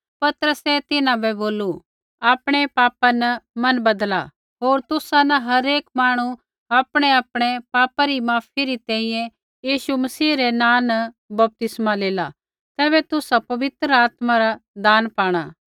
पतरसै तिन्हां बै बोलू आपणै पापा न मन बदला होर तुसा न हरेक माणू आपणैआपणै पापै री माफी री तैंईंयैं यीशु मसीह रै नाँ न बपतिस्मा लेला तैबै तुसा पवित्र आत्मा रा दान पाणा